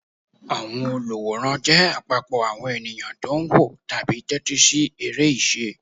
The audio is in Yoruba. Àwọn olùwòran jẹ́ àpapọ̀ àwọn ènìyàn tó ń wò tàbí tẹ́tí sí eré ìṣe.